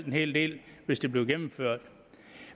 en hel del hvis det bliver gennemført